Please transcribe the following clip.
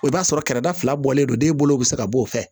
O b'a sɔrɔ kɛrɛda fila bɔlen do den bolo bɛ se ka b'o fɛ